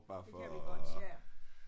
Det kan vi godt ja